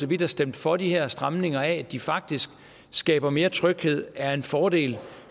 vi der stemte for de her stramninger af at de faktisk skaber mere tryghed og er en fordel